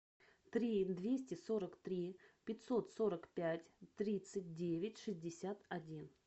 три двести сорок три пятьсот сорок пять тридцать девять шестьдесят один